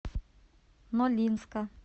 нолинска